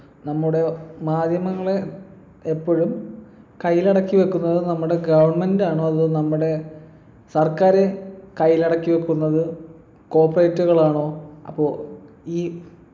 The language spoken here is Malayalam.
നമ്മുടെ മാധ്യമങ്ങളെ എപ്പോഴും കയ്യിലടക്കി വെക്കുന്നത് നമ്മുടെ government ആണോ അതോ നമ്മുടെ സർക്കാര് കയ്യിലടക്കി വെക്കുന്നത് cooperate കളാണോ അപ്പൊ ഈ